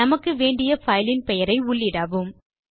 நமக்கு வேண்டிய பைலின் பெயரை உள்ளிடவும்